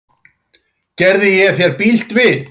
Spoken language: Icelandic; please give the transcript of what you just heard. Gerði ég þér bylt við?